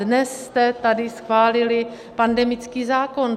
Dnes jste tady schválili pandemický zákon.